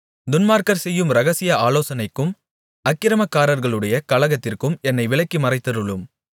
துன்மார்க்கர் செய்யும் இரகசிய ஆலோசனைக்கும் அக்கிரமக்காரர்களுடைய கலகத்திற்கும் என்னை விலக்கி மறைத்தருளும்